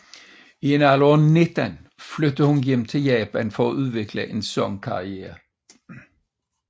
I en alder af 19 flyttede hun til Japan for at udvikle en sangkarriere